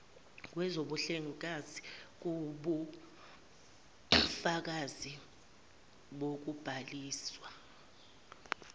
kwezobuhlengikazi kuwubufakazi bokubhaliswa